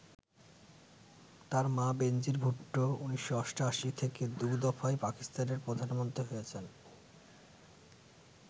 তার মা বেনজির ভুট্টো ১৯৮৮ থেকে দু দফায় পাকিস্তানের প্রধানমন্ত্রী হয়েছেন।